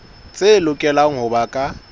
tse lokelang ho ba ka